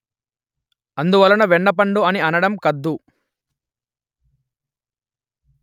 అందువలన వెన్నపండు అని అనడం కద్దు